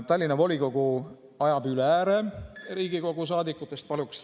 Tallinna volikogu ajab Riigikogu saadikutest üle ääre.